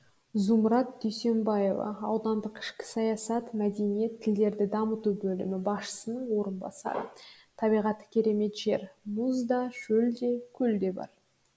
зумрад дүйсенбаева аудандық ішкі саясат мәдениет тілдерді дамыту бөлімі басшысының орынбасары табиғаты керемет жер мұз да шөл де көл де бар